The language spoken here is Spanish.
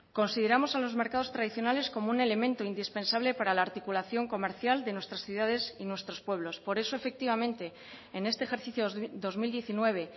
consideramos a los mercados tradicionales como un elemento indispensable para la articulación comercial de nuestras ciudades y nuestros pueblos por eso efectivamente en este ejercicio dos mil diecinueve